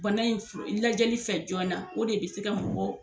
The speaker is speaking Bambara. Bana in fura lajɛli fɛ joona o de bɛ se ka mɔgɔw